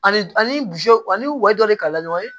Ani ani wa dɔ de kalan ɲɔgɔn ye